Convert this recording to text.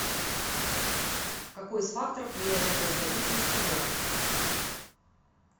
какой из факторов влияет на производительность труда